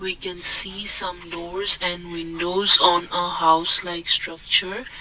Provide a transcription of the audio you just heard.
we can see some doors and windows on a house like structure.